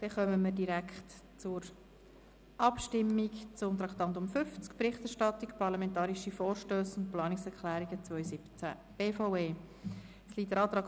Damit kommen wir direkt zur Abstimmung über die Berichterstattung zu den parlamentarischen Vorstössen und Planungserklärungen der BVE im Jahr 2017.